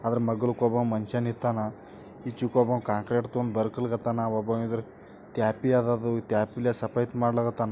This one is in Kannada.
ಅದರ ಮಗಲಕ್ ಒಬ್ಬ ಮನಷಾ ನಿತ್ತಾನಾ ಐಚ್ಚಿಕಡೆ ಒಬ್ಬ ಕಾಂಕ್ರಿಟ್ ತಗೊಂಡ್ ಬರ್ಲಿಕತ್ತಾನ .ತ್ಯಾಪಿ ಅದ ಅದು ಟಿಪಿ ಲೇ ಸಫೇತ್ ಮಾಡ್ಲಿಕತ್ತಾನ .